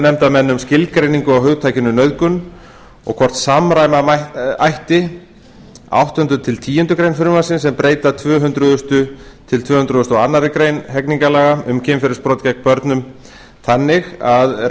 nefndarmenn um skilgreiningu á hugtakinu nauðgun og hvort samræma ætti áttundi til tíundu greinar frumvarpsins sem breyta tvö hundruð tvö hundruð og fyrsta og tvö hundruð og aðra grein almennra